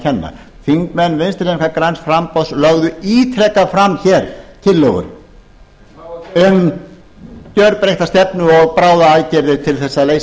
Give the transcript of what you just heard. kenna þingmenn vinstri hreyfingarinnar græns framboðs lögðu ítrekað fram hér tillögur um gjörbreytta stefnu og bráðaaðgerðir til þess að leysa